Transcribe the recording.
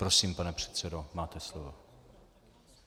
Prosím, pane předsedo, máte slovo.